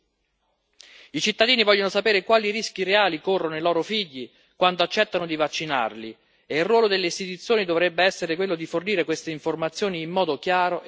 I cittadini vogliono sapere quali rischi reali corrono i loro figli quando accettano di vaccinarli e il ruolo delle istituzioni dovrebbe essere quello di fornire queste informazioni in modo chiaro e trasparente.